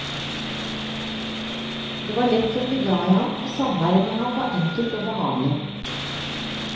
Det var lett å bli glad i ham, og samværet med ham var enkelt og behagelig.